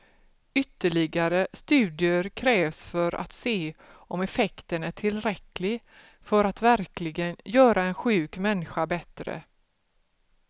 Ytterligare studier krävs för att se om effekten är tillräcklig för att verkligen göra en sjuk människa bättre.